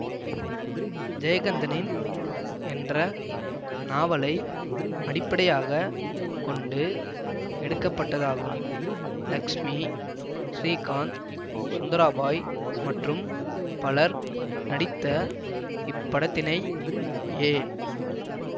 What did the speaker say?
ஜெயகந்தனின் என்ற நாவலை அடிப்படையாக கொண்டு எடுக்க பட்டதாகும் லக்ஷ்மி ஸ்ரீகாந்த் சுந்தராபாய் மற்றும் பலர் நடித்த இப்படத்தினை ஏ